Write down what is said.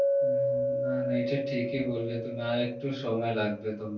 হ্যাঁ হ্যাঁ না না এটা ঠিক ই বললে তুমি আর একটু সময় লাগবে তোমার